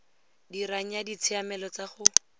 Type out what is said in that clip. dirang ya ditshiamelo tsa go